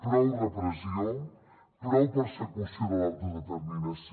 prou repressió prou persecució de l’autodeterminació